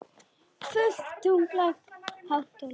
Fullt tungl hátt á lofti.